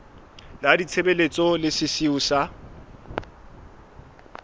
la ditshebeletso le sesiu sa